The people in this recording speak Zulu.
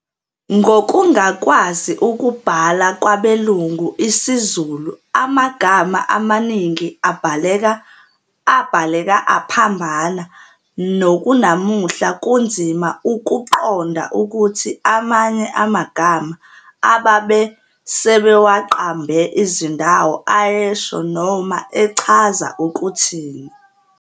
Ngokungakwazi ukubhala kwabelungu isiZulu amagama amaningi abhaleka aphambana nokunamuhla kunzima ukuqonqa ukuthi amanye amagama ababe sebewaqamba izindawo ayesho noma echaza ukuthini.